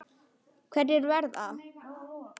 Hverjir verða?